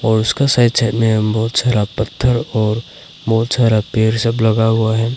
और उसका side side में बहोत सारा पत्थर और बहोत सारा पेड़ सब लगा हुआ है।